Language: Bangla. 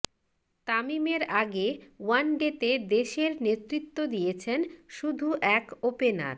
তামিমের আগে ওয়ানডেতে দেশের নেতৃত্ব দিয়েছেন শুধু এক ওপেনার